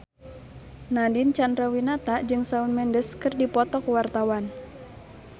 Nadine Chandrawinata jeung Shawn Mendes keur dipoto ku wartawan